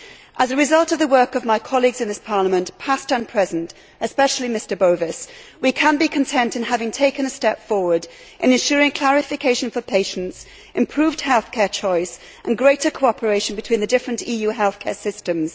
As a result of the work of my colleagues in this Parliament, past and present, especially Mr Bowis, we can be content in having taken a step forward in ensuring clarification for patients, improved healthcare choice and greater cooperation between the different EU healthcare systems.